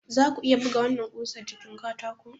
Za ku iya buga wannan ƙusa jikin katako?